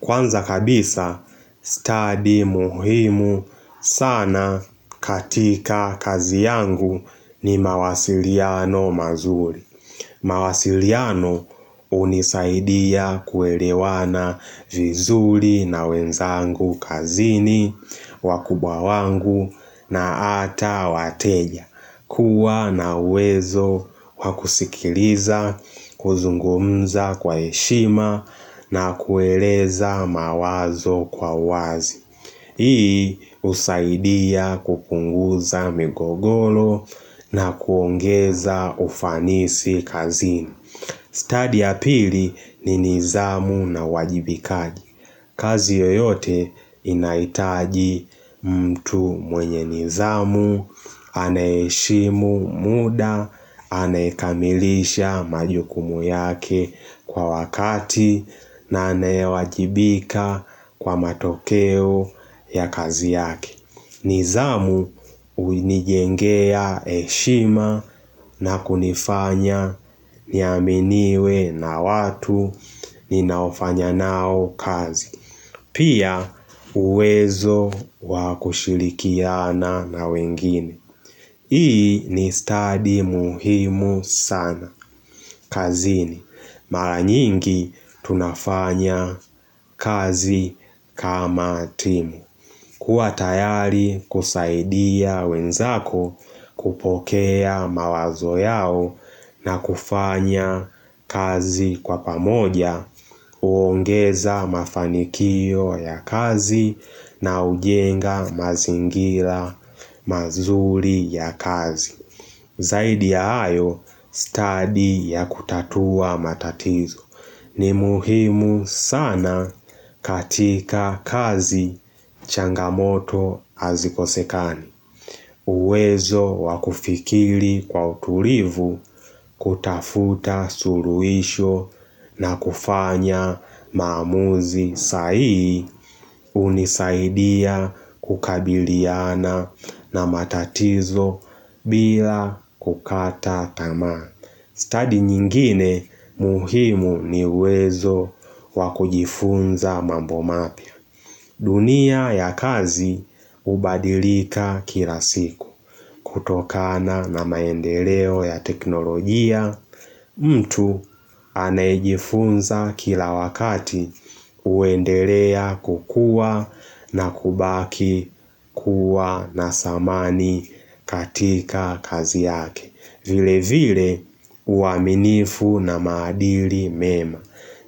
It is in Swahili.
Kwanza kabisa, study muhimu sana katika kazi yangu ni mawasiliano mazuri. Mawasiliano unisaidia kuelewana vizuri na wenzangu kazini, wakubwa wangu na ata wateja. Kuwa na uwezo wakusikiliza, kuzungumza kwa heshima na kueleza mawazo kwa wazi Hii husaidia kupunguza migogolo na kuongeza ufanisi kazini. Study ya pili ni nizamu na wajibikaji kazi yoyote inaitaji mtu mwenye nizamu, anayeheshimu muda, anayekamilisha majukumu yake kwa wakati na anayewajibika kwa matokeo ya kazi yake. Nizamu unijengea heshima na kunifanya niaminiwe na watu ninaofanya nao kazi. Pia uwezo wakushilikiana na wengine. Hii ni study muhimu sana. Kazini, mara nyingi tunafanya kazi kama timu. Kuwa tayari kusaidia wenzako kupokea mawazo yao na kufanya kazi kwa pamoja, uongeza mafanikio ya kazi na ujenga mazingila mazuli ya kazi. Zaidi ya hayo, study ya kutatua matatizo ni muhimu sana, katika kazi changamoto azikosekani. Uwezo wakufikili kwa utulivu kutafuta suluisho na kufanya maamuzi sahihi unisaidia kukabiliana na matatizo bila kukata tamaa. Study nyingine muhimu ni uwezo wakujifunza mambo mapya. Dunia ya kazi ubadilika kila siku. Kutokana na maendeleo ya teknolojia, mtu anayejifunza kila wakati uendelea kukua na kubaki kuwa na samani katika kazi yake. Vile vile uaminifu na maadili mema